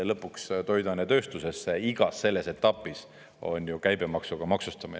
Lõpuks toiduainetööstuses, igas selles etapis on ju käibemaksuga maksustamine.